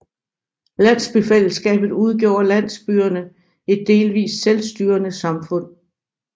Landsbyfællesskabet udgjorde landsbyerne et delvist selvstyrende samfund